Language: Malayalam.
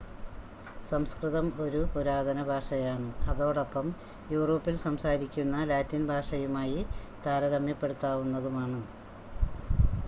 സംസ്‌കൃതം ഒരു പുരാതന ഭാഷയാണ് അതോടൊപ്പം യൂറോപ്പിൽ സംസാരിക്കുന്ന ലാറ്റിൻ ഭാഷയുമായി താരതമ്യപ്പെടുത്താവുന്നതുമാണ്